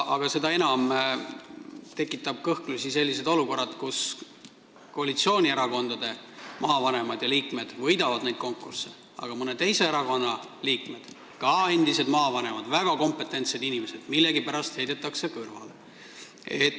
Seda enam tekitab aga kõhklusi selline olukord, kus koalitsioonierakondade maavanemad ja liikmed võidavad neid konkursse, aga mõne teise erakonna liikmed – ka endised maavanemad ja väga kompetentsed inimesed – heidetakse millegipärast kõrvale.